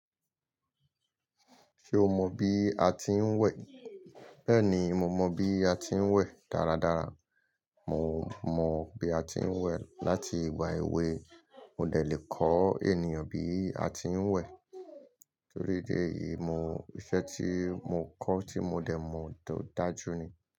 Ṣé o mọ bí a ti ń wẹ̀? Bẹ́ẹ̀ni, mo mọ bí a ti ń wẹ̀ dáradára. Mò mọ bí a ti ń wẹ̀ láti ìgbà èwe. Mo dẹ le kọ ènìyàn bí a ti ń wẹ̀. Tori idi eyi, ìṣẹ́ tí mo kọ́ tí mo dẹ̀ mọ̀ to dájú ni.